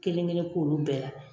Kelen kelen k'olu bɛɛ la.